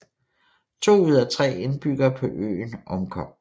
To ud af tre indbyggere på øen omkom